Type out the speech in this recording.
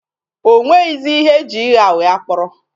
O nwezighị ihe e ji ịgha ụgha kpọrọ.